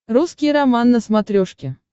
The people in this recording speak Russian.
русский роман на смотрешке